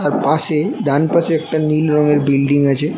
আর পাশে একটা ডানপাশে একটা নীল রঙের বিল্ডিং আছে।